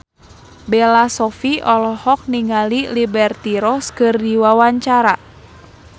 Bella Shofie olohok ningali Liberty Ross keur diwawancara